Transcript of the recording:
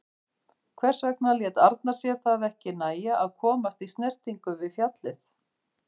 Hvers vegna lét Arnar sér það ekki nægja að komast í snertingu við fjallið?